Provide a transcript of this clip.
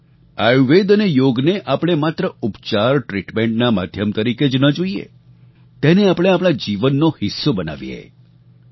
આયુર્વેદ અને યોગને આપણે માત્ર ઉપચારટ્રીટમેન્ટના માધ્યમ તરીકે જ ન જોઈએ તેને આપણે આપણા જીવનનો ભાગ બનાવીએ